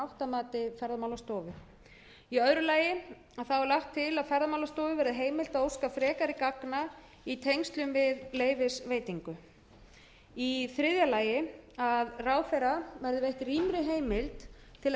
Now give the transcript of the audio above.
að mati ferðamálastofu í öðru lagi er lagt til að ferðamálastofu verði heimilt að óska frekari gagna í tengslum við leyfisveitingu í þriðja lagi að ráðherra verði veitt rýmri heimild til